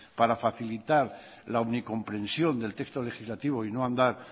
para facilitar la unicomprensión del texto legislativo y no andar